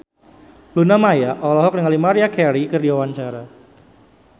Luna Maya olohok ningali Maria Carey keur diwawancara